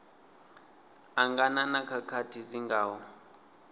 angana na khakhathi dzi ngaho